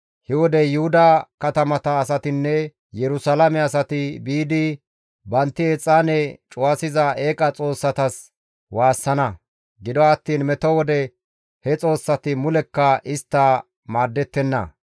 He wode Yuhuda katamata asatinne Yerusalaame asati biidi bantti exaane cuwasiza eeqa xoossatas waassana; gido attiin meto wode he xoossati mulekka istta maaddettenna.